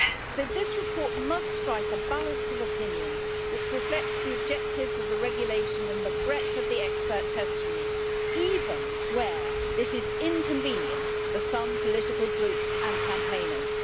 So this report must strike a balance of opinion which reflects the objectives of the regulation and the breadth of the expert testimony, even where this is inconvenient for some political groups and campaigners.